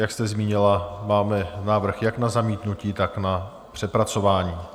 Jak jste zmínila, máme návrh jak na zamítnutí, tak na přepracování.